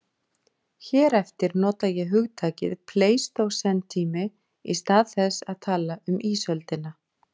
Hér eftir nota ég hugtakið pleistósentími í stað þess að tala um ísöldina.